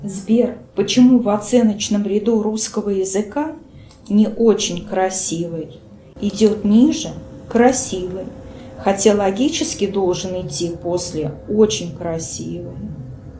сбер почему в оценочном ряду русского языка не очень красивый идет ниже красивый хотя логически должен идти после очень красивый